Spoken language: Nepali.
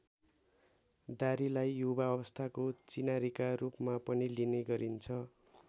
दारीलाई युवा अवस्थाको चिनारीका रूपमा पनि लिने गरिन्छ।